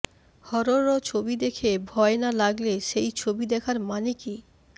horror ছবি দেখে ভয় না লাগলে সেই ছবি দেখার মানে কী